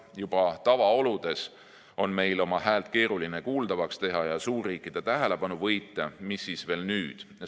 Juba tavaoludes on meil oma häält keeruline kuuldavaks teha ja suurriikide tähelepanu võita, mis siis veel nüüd.